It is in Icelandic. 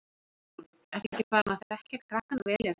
Guðrún: Ertu ekki farin að þekkja krakkana vel hérna?